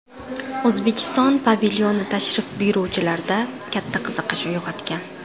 O‘zbekiston pavilyoni tashrif buyuruvchilarda katta qiziqish uyg‘otgan.